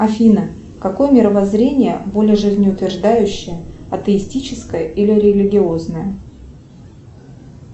афина какое мировоззрение более жизнеутверждающее атеистическое или религиозное